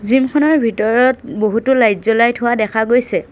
Gym খনৰ ভিতৰত বহুতো লাইট জ্বলাই থোৱা দেখা গৈছে।